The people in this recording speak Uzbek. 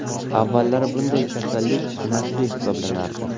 Avvallari bunday kasallik nasliy hisoblanardi.